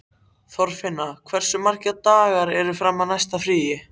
Þorfinna, hversu margir dagar fram að næsta fríi?